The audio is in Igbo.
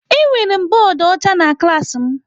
Enwere m bọọdụ ọcha na klaasị m.